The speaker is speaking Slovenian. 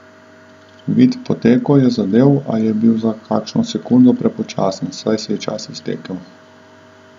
Vid Poteko je zadel, a je bil za kakšno sekundo prepočasen, saj se je čas iztekel.